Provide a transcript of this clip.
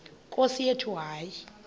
nkosi yethu hayi